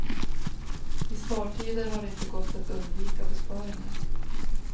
I spartider har det inte gått att undvika besparingar.